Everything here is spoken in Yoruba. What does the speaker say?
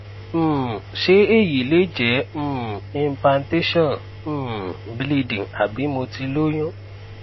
um se eyi le je impantation bleeding abi mo ti loyun